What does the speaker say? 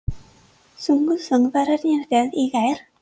Sungu söngvararnir vel í gær?